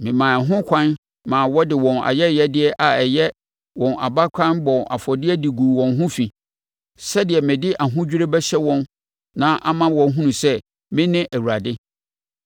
memaa ho ɛkwan ma wɔde wɔn ayɛyɛdeɛ a ɛyɛ wɔn abakan bɔɔ afɔdeɛ de guu wɔn ho fi, sɛdeɛ mede ahodwirie bɛhyɛ wɔn ma ama wɔahunu sɛ me ne Awurade.’